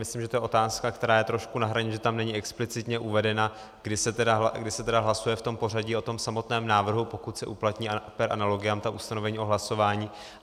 Myslím, že to je otázka, která je trošku na hraně, že tam není explicitně uvedena, když se tedy hlasuje v tom pořadí o tom samotném návrhu, pokud se uplatní per analogiam ta ustanovení o hlasování.